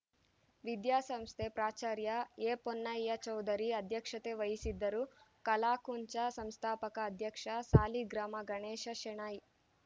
ವಿದ್ಯಾಸಂಸ್ಥೆ ಪ್ರಾಚಾರ್ಯ ಎಪೊನ್ನಯ್ಯಚೌಧರಿ ಅಧ್ಯಕ್ಷತೆ ವಹಿಸಿದ್ದರು ಕಲಾಕುಂಚ ಸಂಸ್ಥಾಪಕ ಅಧ್ಯಕ್ಷ ಸಾಲಿಗ್ರಾಮ ಗಣೇಶ ಶೆಣೈ